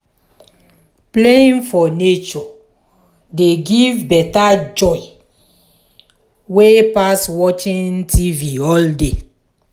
playing for nature dey give better joy wey pass watching tv all day.